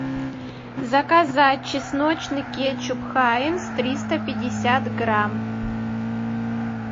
заказать чесночный кетчуп хайнц триста пятьдесят грамм